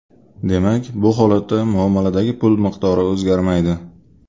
Demak, bu holatda muomaladagi pul miqdori o‘zgarmaydi.